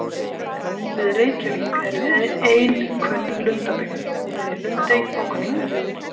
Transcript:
Við Reykjavík er ein kunn lundabyggð, hún er í Lundey á Kollafirði.